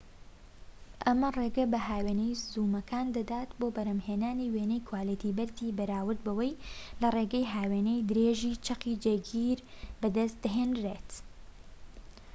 ئەمە ڕێگەی بە هاوێنەی زوومەکان دەدات بۆ بەرهەمهێنانی وێنەی کواڵیتی بەرزی بەراورد بەوەی لە ڕێگەی هاوێنەی درێژیی چەقی جێگیر بەدەست دەهێنرێن